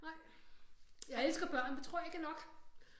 Nej jeg elsker børn det tror jeg ikke er nok